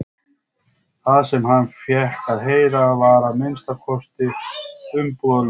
Það sem hann fékk að heyra var að minnsta kosti umbúðalaust.